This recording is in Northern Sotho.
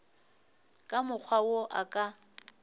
ka mokgwa wo a ka